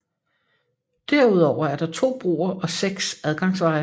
Derudover er der to broer og seks adgangsveje